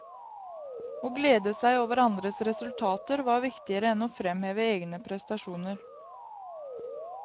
Å glede seg over andres resultater var viktigere enn å fremheve egne prestasjoner.